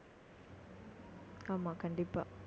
ஆமா, கண்டிப்பா